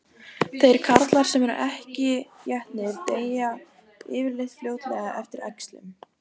Þeir karlar sem ekki eru étnir deyja yfirleitt fljótlega eftir æxlun.